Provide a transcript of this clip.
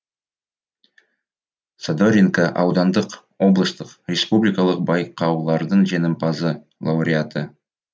задоринка аудандық облыстық республикалық байқаулардың жеңімпазы лауреаты